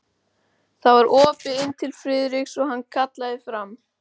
Það var opið inn til Friðriks og hann kallaði fram